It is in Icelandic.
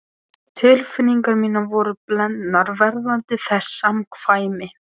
Tilfinningar mínar voru blendnar varðandi þessi samkvæmi.